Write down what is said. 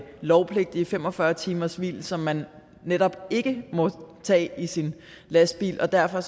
lovpligtige fem og fyrre timers hvil som man netop ikke må tage i sin lastbil derfor